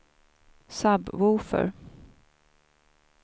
sub-woofer